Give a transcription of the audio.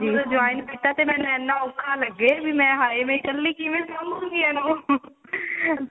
ਹੁਣ join ਕੀਤਾ ਤੇ ਮੈਨੂੰ ਇੰਨਾ ਔਖਾ ਲੱਗੇ ਵੀ ਮੈਂ ਹਾਏ ਮੈਂ ਇੱਕਲੀ ਕਿਵੇਂ ਸਾਭੁਂਗੀ ਇਹਨੂੰ